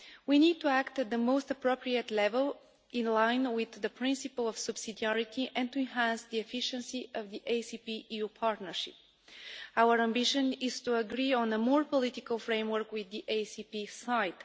We need to act at the most appropriate level, in line with the principle of subsidiarity, and to enhance the efficiency of the ACP EU partnership. Our ambition is to agree on a more political framework with the ACP side.